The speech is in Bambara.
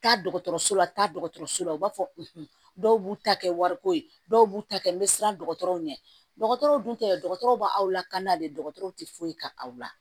Taa dɔgɔtɔrɔso la taa dɔgɔtɔrɔso la u b'a fɔ dɔw b'u ta kɛ wariko ye dɔw b'u ta kɛ n bɛ siran dɔgɔtɔrɔw ɲɛ dɔgɔtɔrɔw dun tɛ dɔgɔtɔrɔ b'aw lakan n'ale dɔgɔtɔrɔw tɛ foyi kɛ aw la